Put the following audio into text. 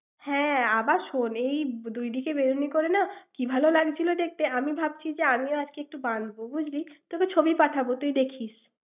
হ্যাঁ আবার শোন। এই বি~ দু দিকে বেনুনি করে না ভালো লাগছিল দেখতে। আমি ভাবছি আমিও আজকে একটু বাধিব, বুঝলি? তোকে ছবি পাঠাব। তুই দেখিস।